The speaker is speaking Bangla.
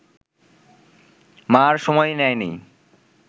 মা’র সময় নেয়নি